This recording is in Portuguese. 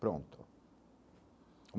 Pronto.